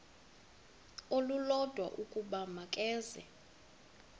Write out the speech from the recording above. olulodwa ukuba makeze